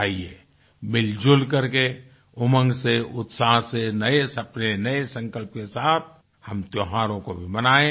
आइये मिलजुल करके उमंग से उत्साह से नये सपने नये संकल्प के साथ हम त्योहारों को भी मनाएँ